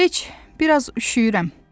Heç, biraz üşüyürəm.